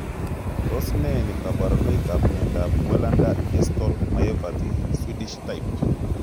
Tos ne kaborunoikap miondop welander distal myopathy, swedish type?